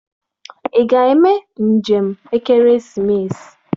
Ị ga-eme njem ekeresimesi?